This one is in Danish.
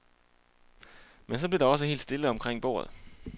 Men så blev der også helt stille omkring bordet.